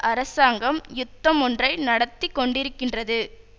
அரசாங்கம் யுத்தமொன்றை நடத்திக்கொண்டிருக்கின்றது